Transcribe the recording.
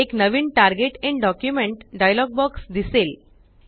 एक नवीन target in document dialog box दिसेल